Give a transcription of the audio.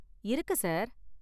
இருக்கு சார்.